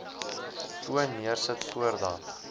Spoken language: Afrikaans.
foon neersit voordat